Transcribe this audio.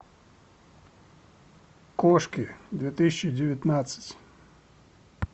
кошки две тысячи девятнадцать